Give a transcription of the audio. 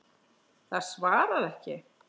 Það svarar ekki.